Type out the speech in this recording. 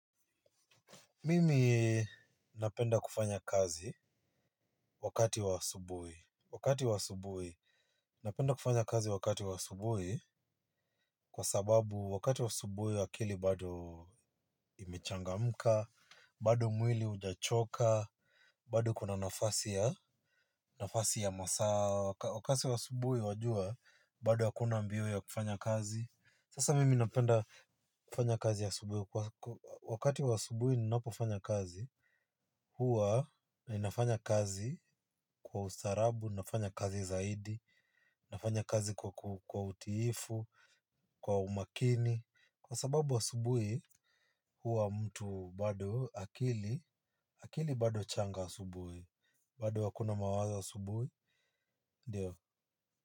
Mimi napenda kufanya kazi wakati wa asubuhi. Wakati wa asubuhi napenda kufanya kazi wakati wa asubuhi kwa sababu wakati wa asubuhi akili bado imechangamka, bado mwili hujachoka bado kuna nafasi ya masaa. Wakati wa asubuhi wajua bado hakuna mbio ya kufanya kazi. Sasa mimi napenda kufanya kazi asubuhi. Wakati wa asubuhi ninapofanya kazi huwa ninafanya kazi kwa ustaarabu, nafanya kazi zaidi, nafanya kazi kwa utiifu, kwa umakini. Kwa sababu asubuhi huwa mtu bado akili, akili bado changa asubuhi, bado hakuna mawazo asubuhi, ndio.